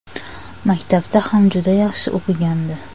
Maktabda ham juda yaxshi o‘qigandi.